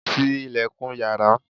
Ti ilẹ̀kùn yàrá!